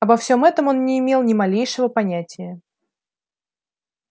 обо всем этом он не имел ни малейшего понятия